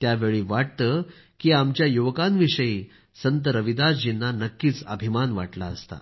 त्यावेळी वाटतं की आमच्या युवकांविषयी संत रविदासजींना नक्कीच अभिमान वाटला असता